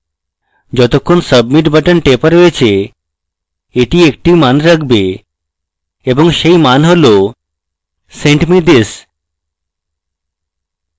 যতক্ষণ submit button টেপা হয়েছে এটি একটি মান রাখবে এবং সেই মান has send me this